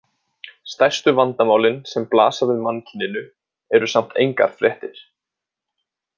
Stærstu vandamálin sem blasa við mannkyninu eru samt engar fréttir.